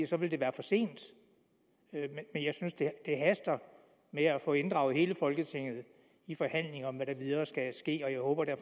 så ville det være for sent men jeg synes det haster med at få inddraget hele folketinget i forhandlingen om hvad der videre skal ske og